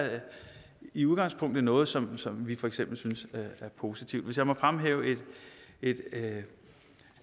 i udgangspunktet noget som som vi for eksempel synes er positivt hvis jeg må fremhæve et